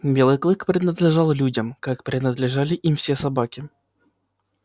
белый клык принадлежал людям как принадлежали им все собаки